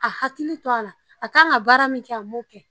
A hakili to ala a kan ka baara min kɛ a m'o kɛ